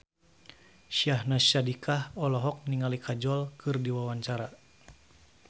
Syahnaz Sadiqah olohok ningali Kajol keur diwawancara